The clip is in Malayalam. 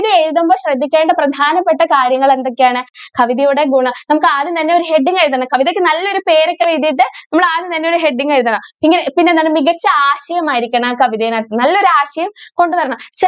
ഇത് എഴുതുമ്പോൾ ശ്രദ്ധികേണ്ട പ്രധാനപെട്ട കാര്യങ്ങൾ എന്തൊക്കെ ആണ് കവിതയുടെ ഗുണം നമുക്ക് ആദ്യം തന്നെ ഒരു heading എഴുതണം കവിതയ്ക്ക് നല്ലൊരു പേരൊക്കെ എഴുതിട്ട് നിങ്ങൾ ആദ്യം തന്നെ ഒരു heading എഴുതണം പിന്നെ പിന്നെ എന്താണ് മികച്ച ഒരു ആശയം ആയിരിക്കണം ആ കവിതയുടെ അകത്ത്.